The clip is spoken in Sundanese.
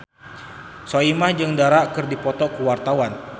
Soimah jeung Dara keur dipoto ku wartawan